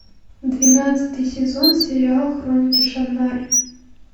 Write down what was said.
двенадцатый сезон сериал хроники шаннары